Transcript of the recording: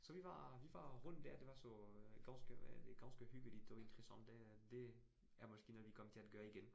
Så vi var vi var rundt dér, det var så ganske hvad det ganske hyggeligt og interessant det er, det er måske noget vi kommer til at gøre igen